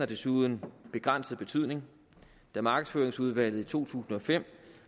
desuden begrænset betydning da markedsføringsudvalget i to tusind og fem